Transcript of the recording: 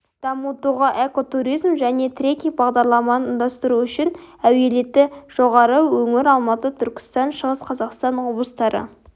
дамытуға экотуризм және трекинг бағдарларын ұйымдастыру үшін әлеуеті жоғары өңір алматы түркістан шығыс қазақстан облыстары